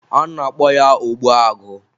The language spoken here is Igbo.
a na-akpọ ya, ogbuagụ